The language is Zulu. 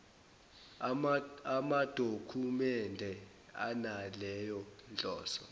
amadokhumende analeyo nhloso